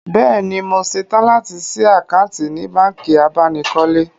Bẹ́ẹ̀ni, mo ṣetán láti ṣí àkáǹtì ní báǹkì abánikọ́lé